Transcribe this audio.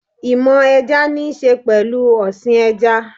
Ìmọ̀ ẹja níṣe pẹ̀lú ọ̀sìn ẹja